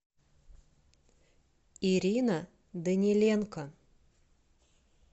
ирина даниленко